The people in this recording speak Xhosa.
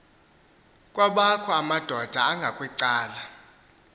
kwabakho amadoda angakwicala